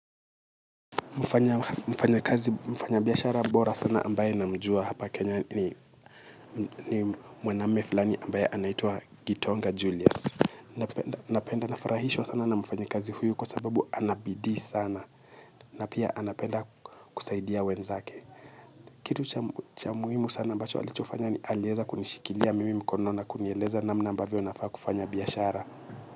Mfanya kazi mfanya biyashara mbora sana ambaye namjua hapa kenya ni mwename fulani ambaye anaitua gitonga julius. Napenda nafarahishwa sana na mfanya kazi huyu kwa sababu anabidi sana na pia anapenda kusaidia wenzake. Kitu cha muhimu sana ambacho alichofanya ni alieza kunishikilia mimi mkono na kuniyeleza namna ambavyo nafaa kufanya biyashara.